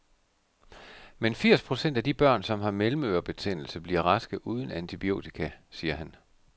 Men firs procent af de børn, som har mellemørebetændelse, bliver raske uden antibiotika, siger han.